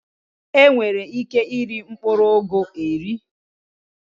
E nwere ike i ri mkpụrụ ụgụ eri.